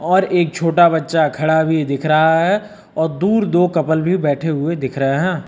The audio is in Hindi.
और एक छोटा बच्चा खड़ा भी दिख रहा है और दूर दो कपल भी बैठे हुए दिख रहे हैं।